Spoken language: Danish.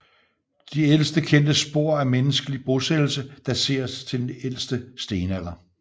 De ældste kendte spor af menneskelig bosættelse dateres til ældste stenalder